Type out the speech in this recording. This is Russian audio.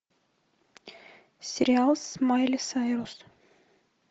сериал с майли сайрус